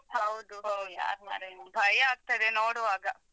ಹೌದು ಹೌದು ಯಾರ್ನರೆ ಭಯಾಗ್ತದೆ ನೋಡುವಾಗ.